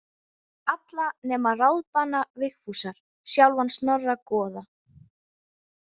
Alla nema ráðbana Vigfúsar, sjálfan Snorra goða.